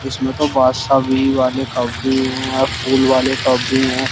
इसमें तो बादशाह भी वाले कप भी हैं फूल वाले कप भी हैं।